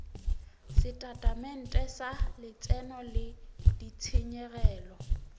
setatamente sa letseno le ditshenyegelo